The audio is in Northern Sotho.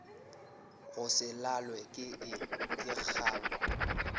go se lalwe ke kgang